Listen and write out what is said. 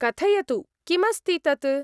कथयतु, किमस्ति तत्।